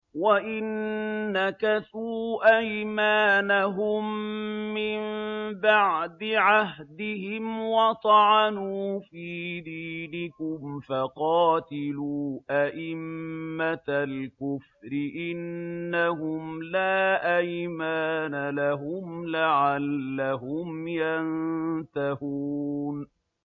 وَإِن نَّكَثُوا أَيْمَانَهُم مِّن بَعْدِ عَهْدِهِمْ وَطَعَنُوا فِي دِينِكُمْ فَقَاتِلُوا أَئِمَّةَ الْكُفْرِ ۙ إِنَّهُمْ لَا أَيْمَانَ لَهُمْ لَعَلَّهُمْ يَنتَهُونَ